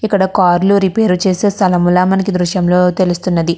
ఇక్కడ కార్ లు రిపైర్ చేసే స్థలం ల మనకి ఈ దృశ్యం లో తెలుస్తున్నది.